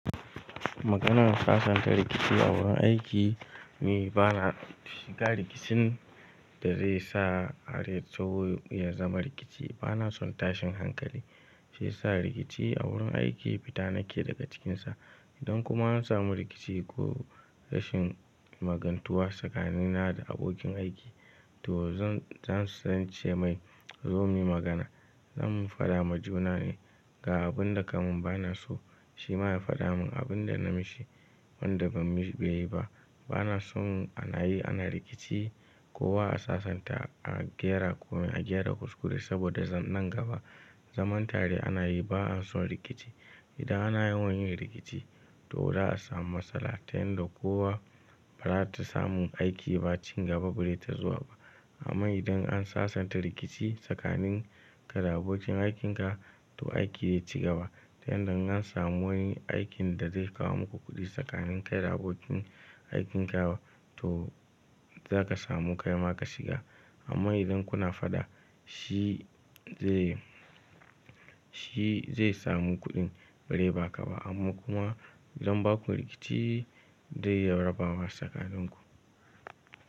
Maganar sasanta rikici a wurin aiki ni bana shiga rikicin da zai sa harya taho ya zama rikici. Bana son tashin hankali, shi yasa rikici a wurin aiki fita nake daga cikinsa. Idan kuma an samu rikici ko rashin magantuwa tsakanina da abokin aiki to zan-zan ce mai zo muyi magana. Zamu fada ma juna ne ga abun da kamin bana so shi ma ya fada mun abin da na mishi wanda beyi ba. Bana son anayi ana rikici ko wa a sasanta, a gyara kuma a gyara kuskure saboda nan gaba zamantare anayi ba'a son rikici. Idan ana yawan yin rikici to za'a samu matsala ta yanda kowa ba za ta samu aiki ba, ci gaba ba zai ta zuwa ba. Amma idan an sasanta rikici tsakanin ka da abokin aikin ka to aiki zai ci gaba ta yanda in an samu wani aikin da zai kawo muku kuɗi tsakanin kai da abokin aikin ka to zaka samu kaima ka shiga. Amma idan kuna fada shi zai, shi zai samu kuɗin bazai ba ka ba amma kuma idan bakwa rikici zai rabawa tsakanin ku.